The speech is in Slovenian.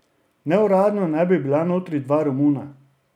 Neuradno naj bi bila notri dva Romuna.